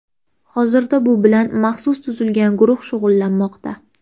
Hozirda bu bilan maxsus tuzilgan guruh shug‘ullanmoqda.